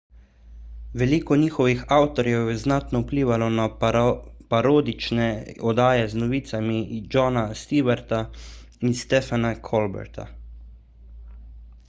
veliko njihovih avtorjev je znatno vplivalo na parodične oddaje z novicami jona stewarta in stephena colberta